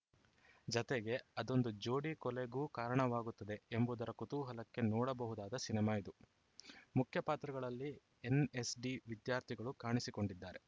ಜತೆಗೆ ಅದೊಂದು ಜೋಡಿ ಕೊಲೆಗೂ ಕಾರಣವಾಗುತ್ತದೆ ಎಂಬುದರ ಕುತೂಹಲಕ್ಕೆ ನೋಡಬಹುದಾದ ಸಿನಿಮಾ ಇದು ಮುಖ್ಯ ಪಾತ್ರಗಳಲ್ಲಿ ಎನ್‌ಎಸ್‌ಡಿ ವಿದ್ಯಾರ್ಥಿಗಳು ಕಾಣಿಸಿಕೊಂಡಿದ್ದಾರೆ